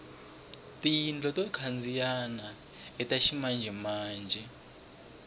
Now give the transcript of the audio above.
tiyindlu to khandziyana ita ximanjemanje